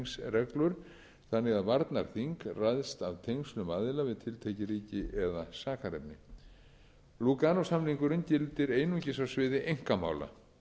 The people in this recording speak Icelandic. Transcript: af tengslum aðila við tiltekið ríki eða sakarefni lúganósamningurinn gildir einungis á sviði einkamála